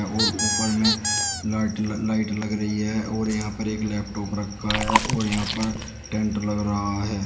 और ऊपर में लाइट लग रही है और यहां पर एक लैपटॉप रखा है और यहां पर टेंट लगा रहा है।